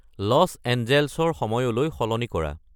loss এঞ্জেল্ছৰ সময়লৈ সলনি কৰা